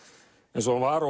eins og hann var